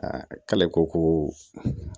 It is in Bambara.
Aa k'ale ko ko